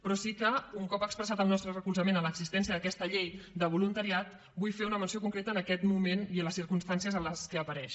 però sí que un cop expressat el nostre recolzament a l’existència d’aquesta llei de voluntariat vull fer una menció concreta en aquest moment i en les circumstàncies en què apareix